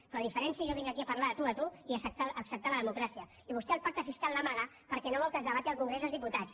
però la diferència és que jo vinc aquí a parlar de tu a tu i a acceptar la democràcia i vostè el pacte fiscal l’amaga perquè no vol que es debati al congrés dels diputats